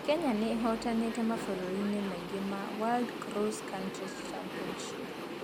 Kenya nĩ ĩhootanĩte mabũrũri-inĩ maingĩ ma World Cross-Country Championships.